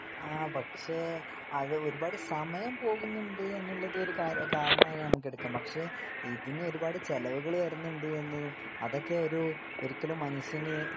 അതെ പക്ഷെ ഒരുപാട് സമയം പോകുന്നുണ്ട് എന്നത് ഒരു കാരണമായി എടുക്കാം പക്ഷെ ഇതിന് ഒരുപാട് ചെലവുകൾ വരുന്നുണ്ട് എന്നതും അതൊക്കെ ഒരു ഒരിക്കലും മനുഷ്യന്